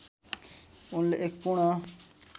उनले एक पूर्ण